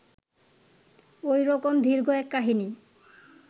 ঐ রকম দীর্ঘ এক কাহিনী